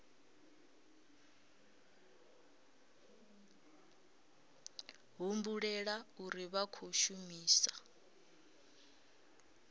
humbulela uri vha khou shumisa